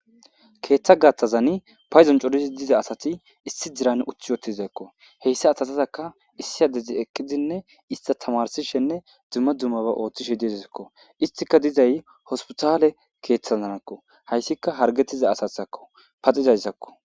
Keetha gaathazani paydon corizi dziza asati issi dziran uthi wottizakko heyssa asatazakka issi adezi eqqidzinne ista tamarsishenne dzumma dzummaba oothishe dizakko istika dizay hospitale keeththazanakko hayssika hargettiza asatadzakko paxizayssakko